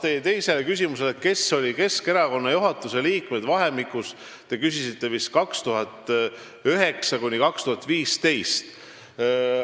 Teie teine küsimus oli, kes olid Keskerakonna juhatuse liikmed ajavahemikus, mille kohta te küsisite, vist aastatel 2009–2015.